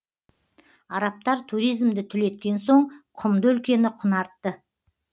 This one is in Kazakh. арабтар туризмді түлеткен соң құмды өлкені құнартты